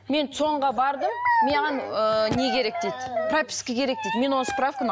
мен цон ға бардым маған ыыы не керек дейді прописка керек дейді мен оны справканы